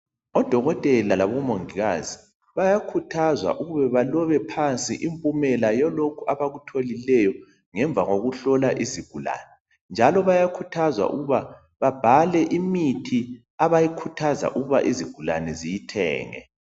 Odokotela labo mongikazi bayakhuthazwa ukuba balobe phansi impumela yalokhu abakutholileyo ngemva kokuhlola izigulane njalo bayakhuthazwa ukuba babhale imithi abayikhuthaza ukuba izigulane ziyithenge.